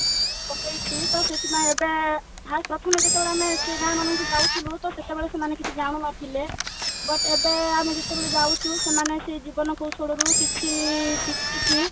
ପକେଇଛି ତ ସେଥିପାଇଁ ଏବେ first ପ୍ରଥମେ ଯେତେବେଳେ ଆମେ ସେଇ ଗାଁ ମନଙ୍କୁ ଯାଉଛୁ ହୁଏତ ସେତେବେଳେ ସେମାନେ କିଛି ଜାଣୁନଥିଲେ but ଏବେ ଯେତେବେଳେ ଆମେ ଯାଉଛୁ ସେମାନେ ସେଇ ଜୀବନ କୌଶଳରୁ କିଛି ଶିଖିକି